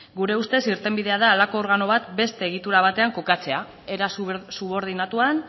gure ustez irtenbidea da horrelako organo bat beste egitura batean kokatzea era subordinatuan